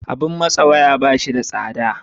Abin matse waya, ba shi da tsada.